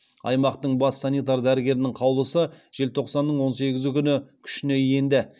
аймақтың бас санитар дәрігерінің қаулысы желтоқсанның он сегізі күні күшіне енді